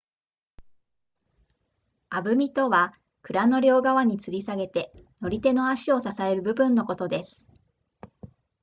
鐙あぶみとは鞍の両側に吊り下げて乗り手の足を支える部分のことです